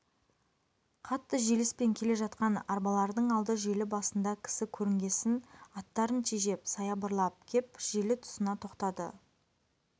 қатты желіспен келе жатқан арбалардың алды желі басында кісі көрінгесін аттарын тежеп саябырлап кеп желі тұсына тоқтады